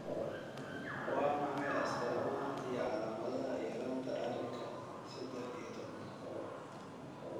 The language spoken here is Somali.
Waa maxay astamaha iyo calaamadaha yaraanta arinka sedex iyo tobnaad?